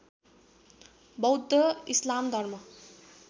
बौद्ध इस्लाम धर्म